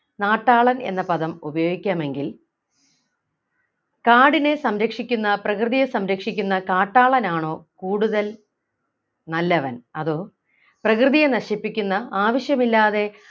നാട്ടാളൻ എന്ന പദം ഉപയോഗിക്കാം എങ്കിൽ കാടിനെ സംരക്ഷിക്കുന്ന പ്രകൃതിയെ സംരക്ഷിക്കുന്ന കാട്ടാളൻ ആണോ കൂടുതൽ നല്ലവൻ അതോ പ്രകൃതിയെ നശിപ്പിക്കുന്ന ആവശ്യമില്ലാതെ